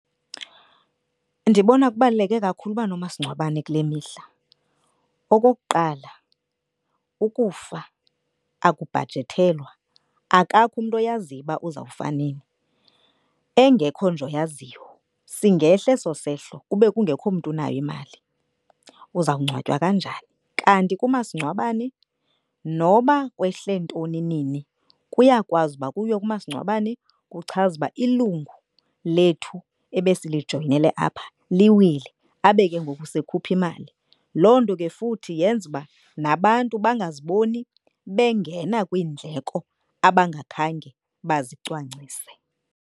Ndibona kubaluleke kakhulu uba nomasingcwabane kule mihla. Okokuqala, ukufa akubhajethelwa, akakho umntu oyaziyo uba uzawufa nini. Engekho nje oyaziyo singehla eso sehlo kungekho mntu unayo imali uzawungcwatywa kanjani? Kanti kumasingcwabane noba kwehle ntoni, nini kuyakwazi uba kuyiwe kumasingcwabane kuchazwe uba lethu ebesilijoyinele apha liwile. Abe ke ngoku sekhupha imali. Loo nto ke futhi yenza uba nabantu bangaziboni bengena kwiindleko abangakhange bazicwangcise.